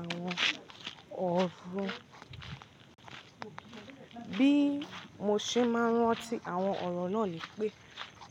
Àwọn ọ̀rọ̀ bí mo ṣe máa ń rántí àwọn ọ̀rọ̀ náà ni pé,